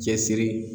Cɛsiri